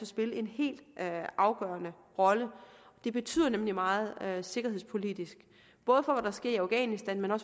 spille en helt afgørende rolle det betyder nemlig meget sikkerhedspolitisk både for hvad der sker i afghanistan og